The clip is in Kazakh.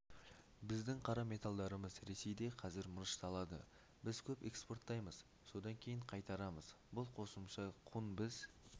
біздің қара металдарымыз ресейде қазір мырышталады біз көп экспорттаймыз содан кейін қайтарамыз бұл қосымша құн біз